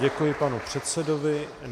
Děkuji panu předsedovi.